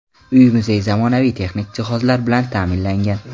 Uy-muzey zamonaviy texnik jihozlar bilan ta’minlangan.